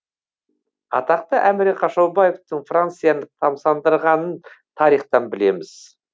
атақты әміре қашаубаевтың францияны тамсандырғанын тарихтан білеміз